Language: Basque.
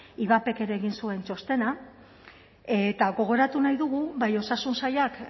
ivapek ere egin zuen txostena eta gogoratu nahi dugu bai osasun sailak